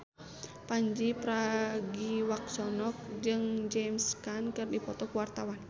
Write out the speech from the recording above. Pandji Pragiwaksono jeung James Caan keur dipoto ku wartawan